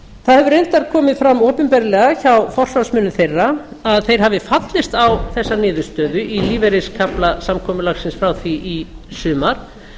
það hefur reyndar komið fram opinberlega hjá forsvarsmönnum þeirra að þeir hafi fallist á þessa niðurstöðu í lífeyriskafla samkomulagsins frá því í sumar